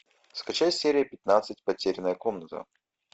скачать серия пятнадцать потерянная комната